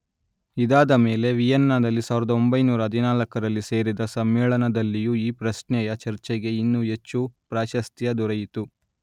ಇದಾದಮೇಲೆ ವಿಯೆನ್ನಾದಲ್ಲಿ ಸಾವಿರದ ಒಂಭೈನೂರ ಹರಿನಾಲ್ಕರಲ್ಲಿ ಸೇರಿದ ಸಮ್ಮೇಳನದಲ್ಲಿಯೂ ಈ ಪ್ರಶ್ನೆಯ ಚರ್ಚೆಗೆ ಇನ್ನೂ ಹೆಚ್ಚು ಪ್ರಾಶಸ್ತ್ಯ ದೊರೆಯಿತು